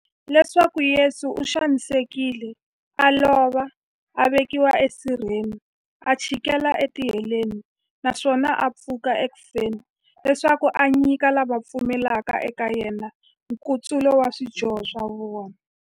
Leswaku Yesu u xanisekile, a lova, a vekiwa e sirheni, a chikela e tiheleni, naswona a pfuka eku feni, leswaku a nyika lava va pfumelaka eka yena, nkutsulo wa swidyoho swa vona.